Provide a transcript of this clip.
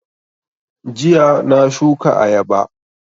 Jiya na shuka ayaba